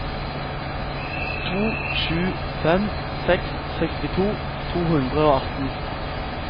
to sju fem seks sekstito to hundre og atten